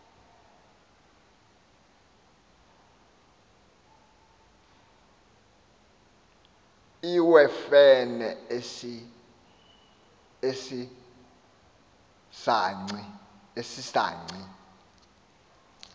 iwewfene esi saci